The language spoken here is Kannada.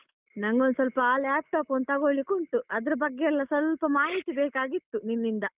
ನಂಗೊಂದ್ ಸ್ವಲ್ಪ ಆ laptop ಒಂದು ತಗೋಳಿಕ್ಕುಂಟು ಅದ್ರ ಬಗ್ಗೆಯೆಲ್ಲ ಸ್ವಲ್ಪ ಮಾಹಿತಿ ಬೇಕಾಗಿತ್ತು ನಿನ್ನಿಂದ.